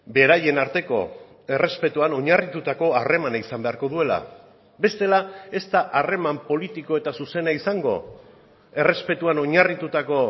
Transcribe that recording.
beraien arteko errespetuan oinarritutako harremana izan beharko duela bestela ez da harreman politiko eta zuzena izango errespetuan oinarritutako